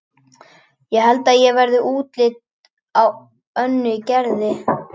Það held ég verði upplit á Önnu í Gerði.